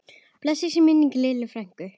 Blessuð sé minning Lillu frænku.